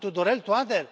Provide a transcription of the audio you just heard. Cu Tudorel Toader?